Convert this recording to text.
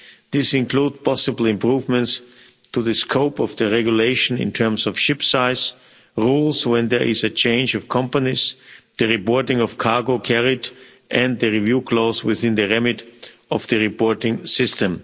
These include possible improvements to the scope of the regulation in terms of ship size, rules when there is a change of company, the reporting of cargo carried, and the review clause within the remit of the reporting system.